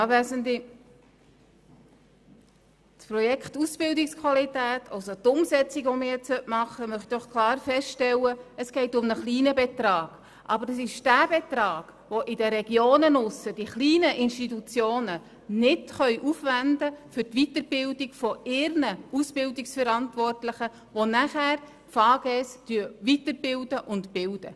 Zur Umsetzung des Projekts Ausbildungsqualität: Ich möchte festhalten, dass es um einen kleinen Betrag geht, aber es ist jener Betrag, den die kleinen Institutionen in den Regionen nicht aufwenden können für die Weiterbildung ihrer Ausbildungsverantwortlichen, die danach Fachfrauen/Fachmänner Gesundheit (FaGe) aus- und weiterbilden.